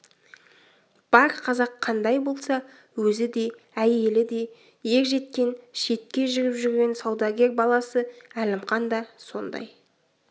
бар қазақ қандай болса өзі де әйелі де ер жеткен шетке жүріп жүрген саудагер баласы әлімқан да сондай